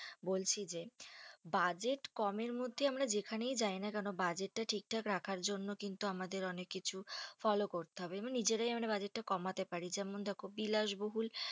বলছি যে budget কমের মধ্যে আমরা যেখানেই যাই না কেনো? budget তা ঠিকঠাক রাখার জন্য কিন্তু আমাদের অনেক কিছু follow করতে হবে, আমরা নিজেরাই budget টা কমাতে পারি, যেমন দেখো বিলাস বহুল